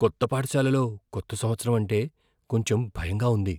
కొత్త పాఠశాలలో కొత్త సంవత్సరం అంటే కొంచెం భయంగా ఉంది.